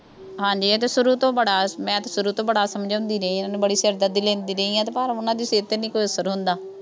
ਹਾਂਜੀ ਇਹ ਤਾਂ ਸ਼ੁਰੂ ਤੋਂ ਬੜ, ਮੈਂ ਤਾਂ ਸ਼ੁਰੂ ਤੋਂ ਬੜਾ ਸਮਝਾਉਂਦੀ ਰਹੀ ਹਾਂ ਇਹਨੂੰ, ਬੜੀ ਸਿਰਦਰਦੀ ਲੈਂਦੀ ਰਹੀ ਹਾਂ, ਪਰ ਉਹਨਾ ਦੇ ਸਿਰ ਤੇ ਨਹੀਂ ਕੋਈ ਅਸਰ ਹੁੰਦਾ।